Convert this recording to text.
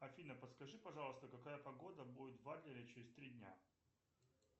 афина подскажи пожалуйста какая погода будет в адлере через три дня